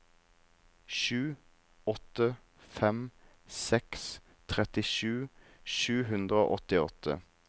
sju åtte fem seks trettisju sju hundre og åttiåtte